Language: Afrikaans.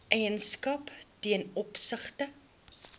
eienaarskap ten opsigte